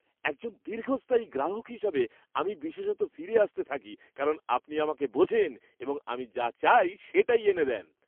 একজন দীর্ঘস্থায়ী গ্রাহক হিসাবে, আমি বিশেষত ফিরে আসতে থাকি কারণ আপনি আমাকে বোঝেন এবং আমি যা চাই সেটা এনে দেন।